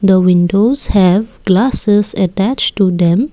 The windows have glasses attach to them.